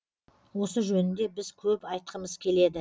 осы жөнінде біз көп айтқымыз келеді